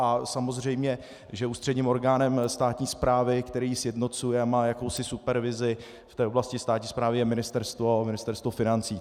A samozřejmě že ústředním orgánem státní správy, který ji sjednocuje a má jakousi supervizi v té oblasti státní správy, je Ministerstvo financí.